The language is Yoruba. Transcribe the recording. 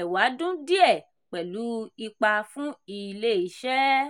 ẹ̀wádún díẹ̀ pẹ̀lú ipa fún ilé-iṣẹ́.